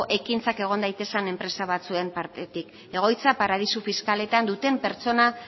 ekintzak egon daitezen enpresa batzuek partetik egoitza paradisu fiskaletan duten pertsona